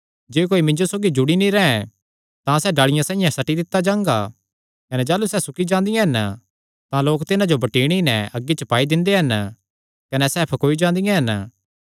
जे कोई मिन्जो सौगी जुड़ी नीं रैंह् तां सैह़ डाल़िया साइआं सट्टी दित्ता जांदा कने जाह़लू सैह़ सुकी जांदियां हन तां लोक तिन्हां जो बटीणी नैं अग्गी च पाई दिंदे हन कने सैह़ फकौई जांदियां हन